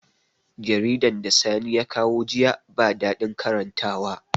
Jaridan da sani ya kawo jiya ba daɗin karantawa